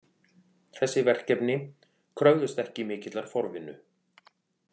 Þessi verkefni kröfðust ekki mikillar forvinnu